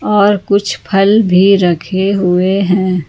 और कुछ फल भी रखे हुए हैं।